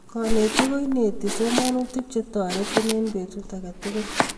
Konetik ko inetii somonutik che terotin eng betut age tugul.